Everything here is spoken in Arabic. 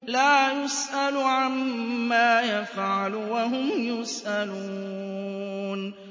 لَا يُسْأَلُ عَمَّا يَفْعَلُ وَهُمْ يُسْأَلُونَ